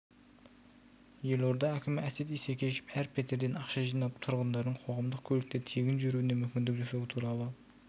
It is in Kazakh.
елорда әкімі әсет исекешев әр пәтерден ақша жинап тұрғындардың қоғамдық көлікте тегін жүруіне мүмкіндік жасау туралы